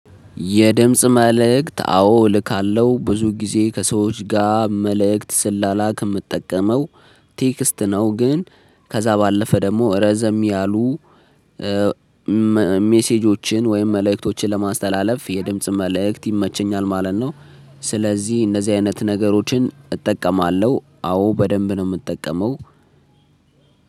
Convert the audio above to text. የድምጽ መልእክት አዎ እልካለው ብዙ ጊዜ ከሰዎች ጋር መልእክት ስላላክ ምጠቀመው ቴክስት ነው ግን ከዛ ባለፈ ደግሞ ረዘም ያሉ ሜሴጆችን ወይም መልእክቶችን ለማስተላለፍ የድምጽ መልእክት ይመቸኛል ማለት ነው። ስለዚህ እንደዚህ አይነት ነገሮችን እጠቀማለው አዎ በደንብ ነው ምጠቀመው።